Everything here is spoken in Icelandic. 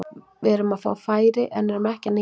Við erum að fá færi en erum ekki að nýta þau.